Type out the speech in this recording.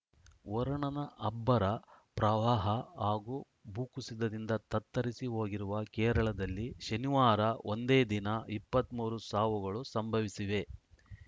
ವರುಣನ ಅಬ್ಬರ ಪ್ರವಾಹ ಹಾಗೂ ಭೂಕುಸಿತದಿಂದ ತತ್ತರಿಸಿ ಹೋಗಿರುವ ಕೇರಳದಲ್ಲಿ ಶನಿವಾರ ಒಂದೇ ದಿನ ಇಪ್ಪತ್ತ್ ಮೂರು ಸಾವುಗಳು ಸಂಭವಿಸಿವೆ